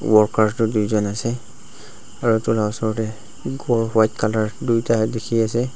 workers tu tuijon ase aro edu la osor tae ghor white colour tuita dikhiase.